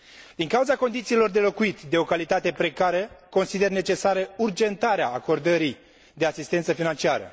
Din cauza condițiilor de locuit de o calitate precară, consider necesară urgentarea acordării de asistență financiară.